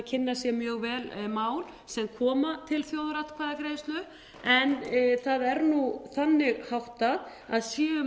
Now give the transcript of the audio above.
kynna sér mjög vel mál sem koma til þjóðaratkvæðagreiðslu en það er nú þannig háttað að séu mál